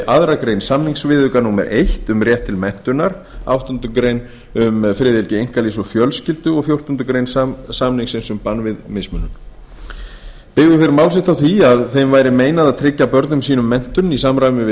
annarrar greinar samningsviðauka númer eitt um rétt til menntunar áttundu greinar um friðhelgi einkalífs og fjölskyldu og fjórtándu greinar samningsins um bann við mismunun byggðu þeir mál sitt á því að þeim væri meinað að tryggja börnum sínum menntun í samræmi við